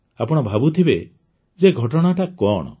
ଆପଣ ଭାବୁଥିବେ ଯେ ଘଟଣାଟା କଣ